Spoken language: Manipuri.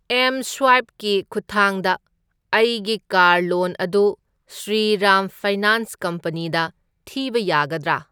ꯑꯦꯝꯁ꯭ꯋꯥꯏꯞ ꯀꯤ ꯈꯨꯠꯊꯥꯡꯗ ꯑꯩꯒꯤ ꯀꯥꯔ ꯂꯣꯟ ꯑꯗꯨ ꯁ꯭ꯔꯤꯔꯥꯝ ꯐꯥꯏꯅꯥꯟꯁ ꯀꯝꯄꯅꯤꯗ ꯊꯤꯕ ꯌꯥꯒꯗ꯭ꯔꯥ?